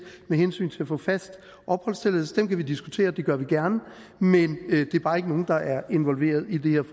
med hensyn til at få fast opholdstilladelse kan vi diskutere og det gør vi gerne men det er bare ikke nogle der er inkluderet i det her